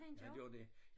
Han gør det